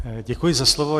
Děkuji za slovo.